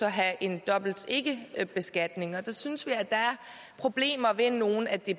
have en dobbelt ikkebeskatning der synes vi at der er problemer ved nogle af